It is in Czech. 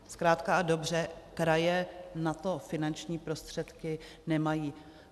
Zkrátka a dobře, kraje na to finanční prostředky nemají.